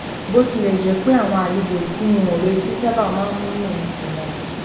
bó tilè jé pé àwọn àlejò tí n ò retí sábà máa ń múnú mi dùn yàtọ